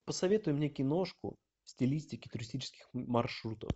посоветуй мне киношку в стилистике туристических маршрутов